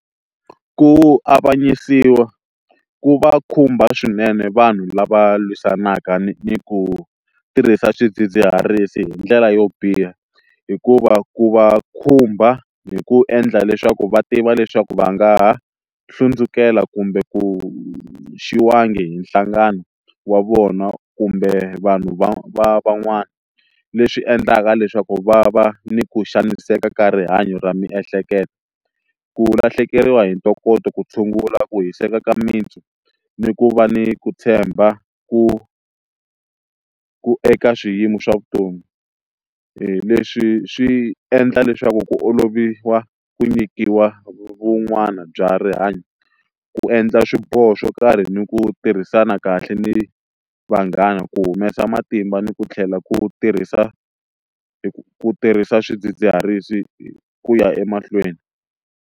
Ku avanyisiwa ku va khumba swinene vanhu lava lwisanaka ni ku tirhisa swidzidziharisi hi ndlela yo biha hikuva ku va khumba hi ku endla leswaku va tiva leswaku va nga ha hlundzukela kumbe ku hi nhlangano wa vona kumbe vanhu van'wana leswi endlaka leswaku va va ni ku xaniseka ka rihanyo ra miehleketo ku lahlekeriwa hi ntokoto ku tshungula ku hiseka ka mintsu ni ku va ni ku tshemba ku ku eka swiyimo swa vutomi leswi swi endla leswaku ku olovisa ku nyikiwa vun'wana bya rihanyo ku endla swiboho swo karhi ni ku tirhisana kahle ni vanghana ku humesa matimba ni ku tlhela ku tirhisa hi ku tirhisa swidzidziharisi hi ku ya emahlweni.